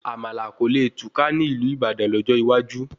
Àmàlà kò le kùtà ní ìlú Ìbàdàn lọ́jọ́ iwájú